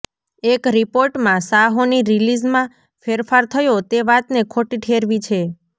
એક રિપોર્ટમાં સાહોની રિલીઝમાં ફેરફાર થયો તે વાતને ખોટી ઠેરવી છે